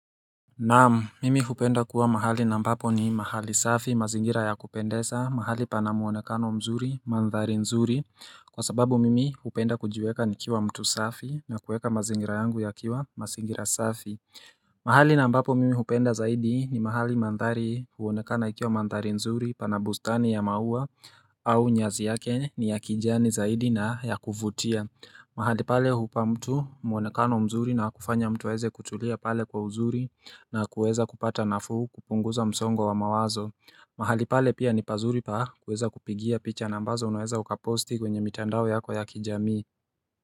Naam, mimi hupenda kuwa mahali na mpapo ni mahali safi, mazingira ya kupendesa, mahali pana muonekano mzuri, mandhari nzuri Kwa sababu mimi hupenda kujiweka ni kiwa mtu safi na kuweka mazingira yangu ya kiwa mazingira safi mahali na ampapo mimi hupenda zaidi ni mahali mandhari huonekana ikiwa mandhari nzuri pana bustani ya maua au nyazi yake ni ya kijani zaidi na ya kufutia mahali pale hupa mtu mwonekano mzuri na kufanya mtu weze kutulia pale kwa mzuri na kuweza kupata nafuu kupunguza msongo wa mawazo mahali pale pia ni pazuri pa kuweza kupigia picha na ambazo unaweza ukaposti kwenye mitandao yako ya kijamii.